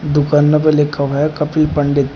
दुकानों पे लिखा हुआ है कपिल पंडित।